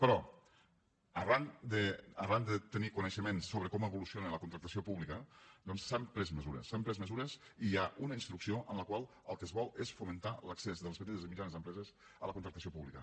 però arran de tenir coneixements sobre com evoluciona la contractació pública doncs s’han pres mesures s’han pres mesures i hi ha una instrucció en la qual el que es vol és fomentar l’accés de les petites i mitjanes empreses a la contractació pública